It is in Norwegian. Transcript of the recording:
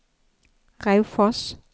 Raufoss